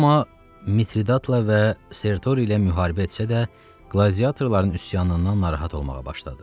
Roma Mitridatla və Sertor ilə müharibə etsə də, qladiatorların üsyanından narahat olmağa başladı.